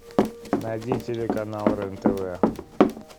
найди телеканал рен тв